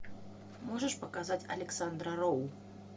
можешь показать александра роу